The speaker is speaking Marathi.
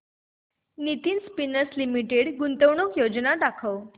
नितिन स्पिनर्स लिमिटेड गुंतवणूक योजना दाखव